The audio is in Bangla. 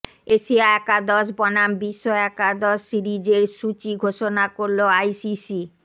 এশিয়া একাদশ বনাম বিশ্ব একাদশ সিরিজের সূচি ঘোষণা করল আইসিসি